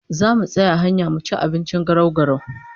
Zamu tsaya a hanya mu ci abinci garau-garau